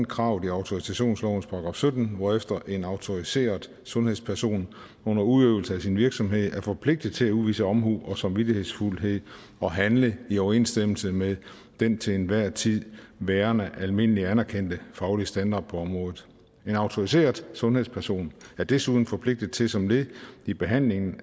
kravet i autorisationsloven § sytten hvorefter en autoriseret sundhedsperson under udøvelse af sin virksomhed er forpligtet til at udvise omhu og samvittighedsfuldhed og handle i overensstemmelse med den til enhver tid værende almindeligt anerkendte faglige standard på området en autoriseret sundhedsperson er desuden forpligtet til som led i behandlingen